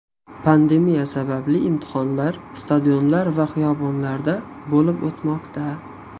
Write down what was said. Pandemiya sababli imtihonlar stadionlar va xiyobonlarda bo‘lib o‘tmoqda.